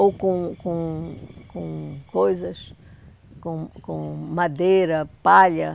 ou com com com coisas, com com madeira, palha.